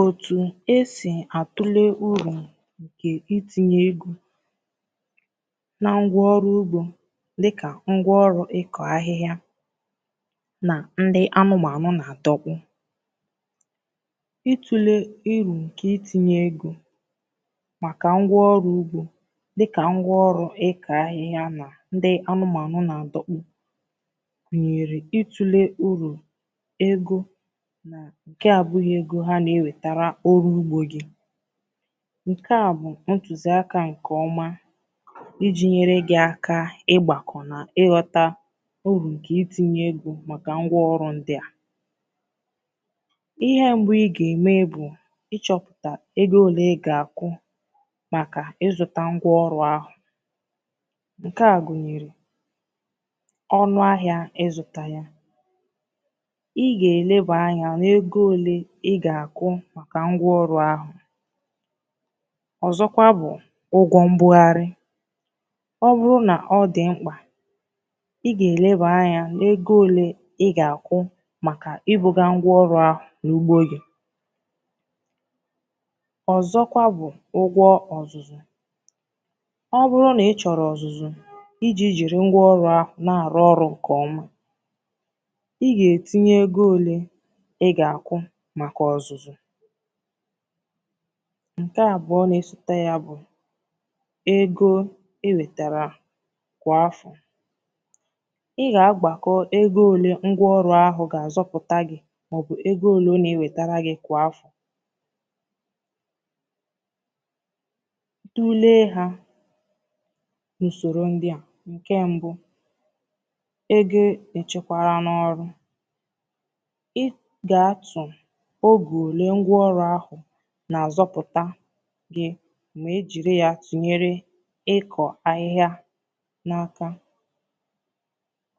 Òtù e si àtụle uru nke itinye ego na ngwá ọrụ ugbo dị ka ngwá ọrụ ịkọ ahịhịa, ndị anụmanụ, na adọkpụ: Itinye ego maka ngwá ọrụ ugbo dị ka ngwá ọrụ ịkọ ahịhịa, ndị anụmanụ, na adọkpụ nke abụghị ego ha na-ewetara oru ugbo nke a bụ ntuziaka nke ọma iji nyere gị aka ịgbakọ na ịghọta uru nke itinye ego maka ngwá ọrụ ndị a. Ihe mbụ ị ga-eme bụ ịchọpụta ego ole ị ga-akụ maka ịzụ ngwá ọrụ ahụ. Nke a gụnyere: Ọnụ ahịa ịzụ ya, Ụgwọ mbugharị, ọ bụrụ na ọ dị mkpa i kwesịrị ileba anya n’ego ole ị ga-akụ maka ibuga ngwá ọrụ ahụ n’ugbo gị. Ụgwọ ọzụzụ, ọ bụrụ na ị chọrọ ọzụzụ iji jiri ngwá ọrụ ahụ na-arụ ọrụ nke ọma. Maka ọzụzụ, nke a bụ ma ọ na-esota ya bụ ego e wetara. Kwa afọ, ị ga-agbakọ ego ole ngwá ọrụ ahụ ga-azọpụtà gị, maọbụ ego ole na-ewetara gị kwa afọ. I tụọ ule ha n’usoro ndị a: Oge ole ngwá ọrụ ahụ na-azọpụtà gị ma ejiri ya tụnyere ịkọ ahịhịa n’aka,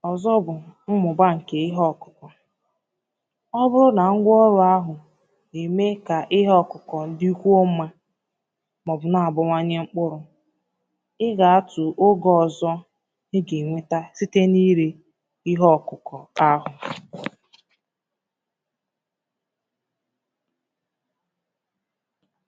Ọzọ bụ mmụba nke ihe ọkụkọ, ọ bụrụ na ngwá ọrụ ahụ na-eme ka ihe ọkụkọ ndị kwụo mma maọbụ na-abawanye mkpụrụ. Ị ga atụ oge ọzọ ị ga-enweta site n’ire ihe ọkụkọ ahụ foto.